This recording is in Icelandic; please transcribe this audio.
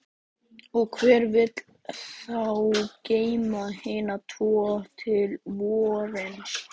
Og hver vill þá geyma hina tvo til vorsins?